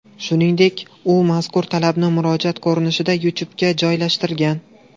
Shuningdek, u mazkur talabni murojaat ko‘rinishida YouTube’ga joylashtirgan.